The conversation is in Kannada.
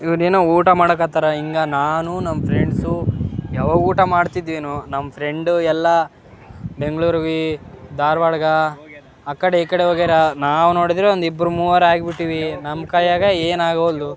ಇವ್ನ್ ಏನೋ ಊಟ ಮಾಡಕ್ ಹತ್ತರ ಹಿಂಗ ನಾನು ನಾನ್ ಫ್ರೆಂಡ್ಸ್ ಯಾವಾಗ ಊಟ ಮಾಡಿದ್ದೇನೋ. ನಮ್ ಫ್ರೆಂಡ್ ಎಲ್ಲ ಬೆಂಗಳೂರು ವಿ ಧಾರವಾಡ ಗ ಆಕಡ ಈಕಡೆ ಹೋಗ್ಯಾರ. ನಾವು ನೋಡಿದ್ರ ಒಂದ್ ಇಬ್ರು ಮೂವರಾಗಿ ಬಿಟ್ಟಿವಿ. ನಮ್ ಕೈಯ್ಯಾಗ ಏನ್ ಆಗವಲ್ದು.